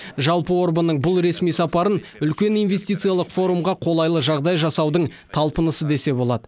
жалпы орбанның бұл ресми сапарын үлкен инвестициялық форумға қолайлы жағдай жасаудың талпынысы десе болады